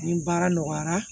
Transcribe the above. Ni baara nɔgɔyara